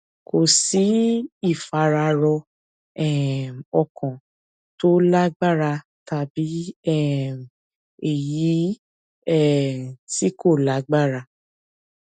kò sí ìfararọ um ọkàn tó lágbára tàbí um èyí um tí kò lágbára